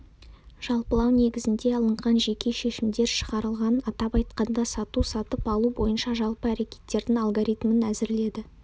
жалпылау негізінде алынған жеке шешімдер шығарылған атап айтқанда сату-сатып алу бойынша жалпы әрекеттердің алгоритмін әзірледі